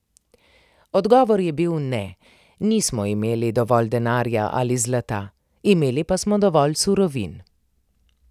Odgovor je bil ne, nismo imeli dovolj denarja ali zlata, imeli pa smo dovolj surovin.